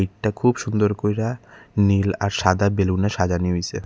এটা খুব সুন্দর কইরা নীল আর সাদা বেলুনের সাজানি হইসে।